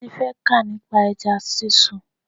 Teni fẹ́ kà nípa ẹja sísun.